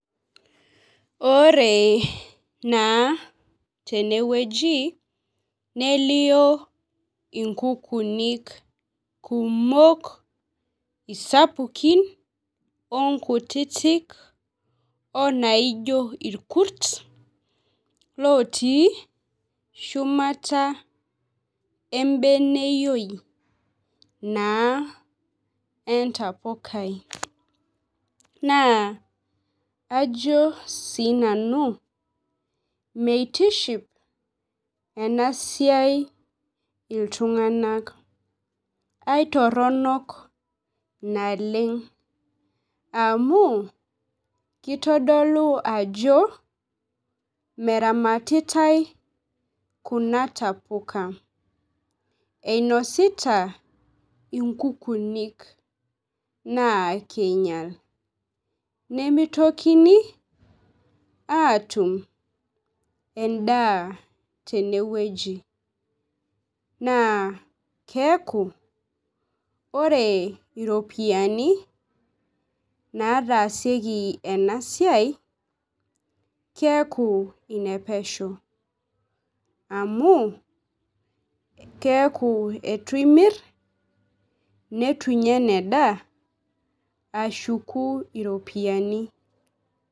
Ore naa teneweji nelio inkukunik kumok isapukin oo nkutitik oo naijo irkurt looti shumata ebeneyioi naa entapukai. Naa ajo sii nanu meitishipo ena siai iltung'anak. Aitoronk naleng' amu kitodolu ajo meramatatia kuna tapuka. Inosita inkukunik naa keinyal. Nemitokini atum eda teneweji naa keeku ore iropiani mnatasieki ena siai naa keeku inapesho. Amu keeku eitu imir neitu inyaa ashuku kuna ropiani.